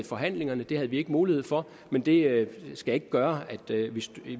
forhandlingerne det havde vi ikke mulighed for men det skal ikke gøre at